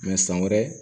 san wɛrɛ